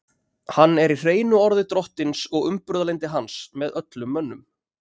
Hann er í hreinu orði drottins og umburðarlyndi hans með öllum mönnum.